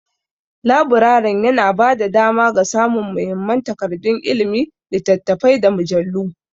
Laburaren yana ba da dama ga samun muhimman takardun ilimi, littattafai, da mujallu.